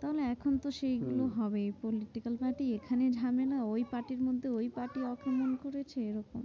তাহলে এখন তো হম সেগুলো হবেই political party এখানে ঝামেলা ওই party র মধ্যে ওই party অপমান করেছে এরকম।